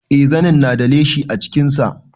Eh zanin na da leshi a jikin sa